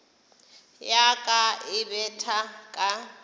ya ka e betha ka